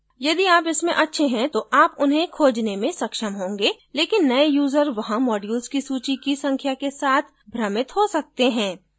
यदि आप इसमें अच्छे हैं तो आप उन्हें खोजने में सक्षम होंगे लेकिन नये यूजर वहाँ modules की सूची की संख्या के साथ भ्रमित हो सकते हैं